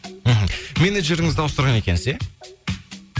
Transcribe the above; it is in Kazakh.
мхм менеджеріңізді ауыстырған екенсіз иә